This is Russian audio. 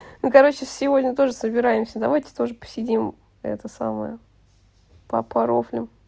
ну короче сегодня тоже собираемся давайте тоже посидим это самое по порофлим